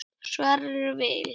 Sverrir Vil.